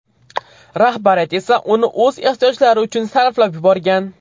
Rahbariyat esa uni o‘z ehtiyojlari uchun sarflab yuborgan.